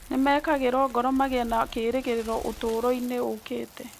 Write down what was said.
Nĩ mekĩragwo ngoro magĩe na kĩĩrĩgĩrĩro ũtũũro-inĩ ũkĩte.